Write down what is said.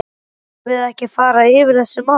Þurfum við ekki að fara yfir þessi mál?